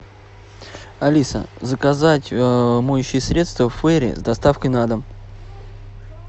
алиса заказать моющее средство фейри с доставкой на дом